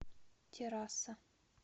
террасса